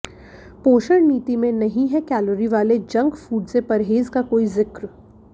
पोषण नीति में नहीं है कैलोरी वाले जंक फूड से परहेज का कोई जिक्र